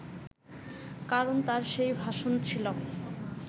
কারণ তার সেই ভাষণ ছিল